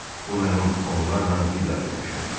Bu mənim onlarla vida görüşümdür.